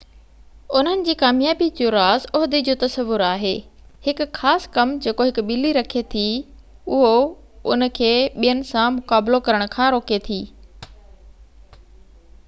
انهن جي ڪاميابي جو راز عهدي جو تصور آهي هڪ خاص ڪم جيڪو هڪ ٻلي رکي ٿي اهو ان کي ٻين سان مقابلو ڪرڻ کان روڪي ٿي